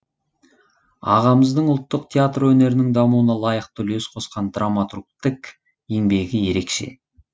ағамыздың ұлттық театр өнерінің дамуына лайықты үлес қосқан драматургтік еңбегі ерекше